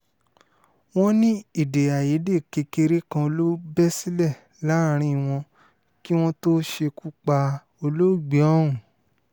wọ́n ní èdè àìyedè kékeré kan ló bẹ́ sílẹ̀ láàrin wọn kí wọ́n tóó ṣekú pa olóògbé ọ̀hún